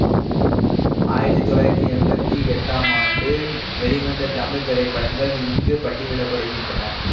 ஆயிரத்தி தொள்ளாயிரத்தி எம்பத்தி எட்டாம் ஆண்டு வெளிவந்த தமிழ் திரைப்படங்கள் இங்கு பட்டியலிட படுகின்றன